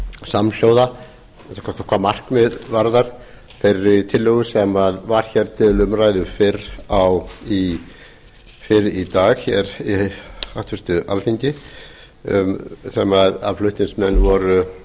samhljóða hvað markmið varðar þeirri tillögu sem var til umræðu fyrr í dag í háttvirtu alþingi þar sem flutningsmenn voru